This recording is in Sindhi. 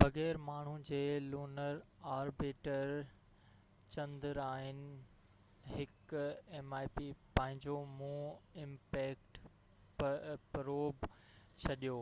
بغير ماڻهو جي لونر آربيٽر چندرائن-1 پنهنجو مون امپيڪٽ پروب mip ڇڏيو،